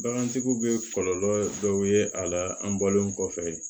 Bagantigi bɛ kɔlɔlɔ dɔ ye a la an bɔlen kɔfɛ